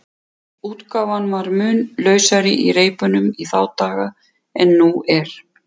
Útgáfan var mun lausari í reipunum í þá daga en nú er.